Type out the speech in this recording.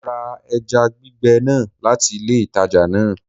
Mo ra eja gbìgbe náà láti ilé ìtajà náà